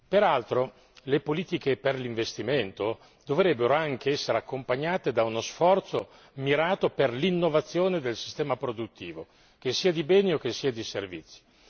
Peraltro, le politiche per l'investimento dovrebbero anche essere accompagnate da uno sforzo mirato per l'innovazione del sistema produttivo, che sia di beni o di servizi.